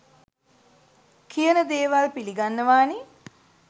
කියන දේවල් පිලිගන්නවානේ